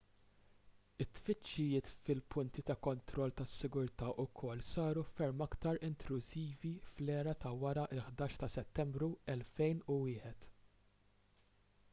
it-tfittxijiet fil-punti ta' kontroll tas-sigurtà wkoll saru ferm aktar intrużivi fl-era ta' wara l-11 ta' settembru 2001